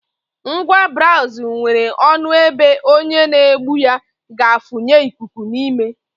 Ngwa braazụ nwere ọnụ ebe onye n'egbu ya ga-afụnye ikuku n'ime